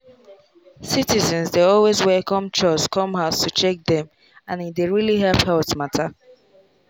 citizens dey always welcome chws come house to check dem and e dey really help health mata.